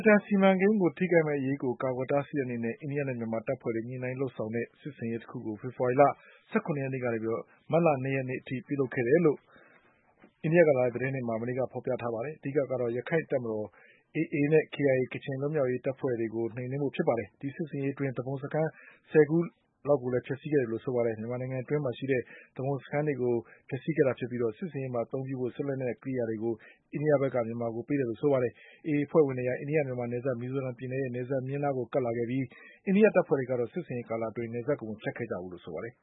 တန်စီမံကိန်း ထိခိုက်မဲ့အရေးကို ကာကွယ်တားဆီးတဲ့ အနေနဲ့ အိန္ဒိယနဲ့ မြန်မာတပ်ဖွဲ့တွေ ညှိနှိုင်းလုပ်ဆောင်တဲ့ စစ်ဆင်ရေး တခုကို ဖေဖေါ်ဝါရီလ ၁၇ ရက်နေ့ကနေ မတ်လ၂ ရက်နေ့အထိ ပြုလုပ်ခဲ့တယ်လို့ အိန္ဒိယကလာတဲ့ သတင်းတွေမှာ မနေ့က ဖေါ်ပြထားပါတယ်။ အဓိကကတော့ ရခိုင့်တပ်မတော် AAနဲ့ KIA ကချင် လွတ်မြောက်ရေး တပ်ဖွဲ့ဝင်တွေကို နှိမ်နင်းဖို့ ဖြစ်ပါတယ်။ ဒီစစ်ဆင် ရေးအတွင်း သူပုန်စခန်း ၁၀ ခုကို ဖျက်ဆီးခဲ့တယ်လို့ ဆိုပါတယ်။ မြန်မာနိုင်ငံ အတွင်းမှာရှိတဲ့ သူပုန်စခန်းတွေကို ဖျက်ဆီးခဲ့တာဖြစ်ပြီး စစ်ဆင်ရေးမှာ အသုံးပြုဖို့ စစ်လက်နက် ကိရိယာတွေကို အိန္ဒိယက မြန်မာဘက်ကို ပေးခဲ့တယ်လို့ ဆိုပါတယ်။ AA အဖွဲ့ဝင်တွေဟာ အိန္ဒိယ မြန်မာနယ်စပ် မီဇိုရမ်ပြည်နယ်ရဲ့ နယ်စပ်မျဉ်းနားကို ကပ်လာခဲ့ပြီး အိန္ဒိယတပ်ဖွဲ့တွေကတော့ စစ်ဆင်ရေး ကာလအတွင်း နယ်စပ်ကို မဖြတ်ခဲ့ကြဘူးလို့ ဆိုပါတယ်